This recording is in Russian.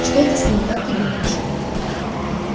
что это с ней как ты думаешь